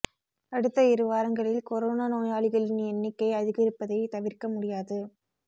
அடுத்த இரு வாரங்களில் கொரோனா நோயாளிகளின் எண்ணிக்கை அதிகரிப்பதை தவிர்க்க முடியாது